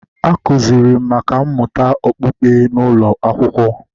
A kụziiri m nkà mmụta okpukpe n’ụlọ akwụkwọ